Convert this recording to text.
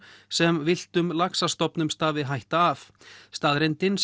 sem villtum laxastofnum stafi hætta af staðreyndin